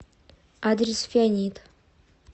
адрес фианит